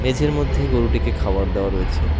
মধ্যে গোরুটিকে খাবার দেওয়া রয়েছে।